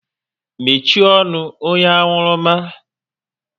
Mechie ọnụ! Onye anwurumma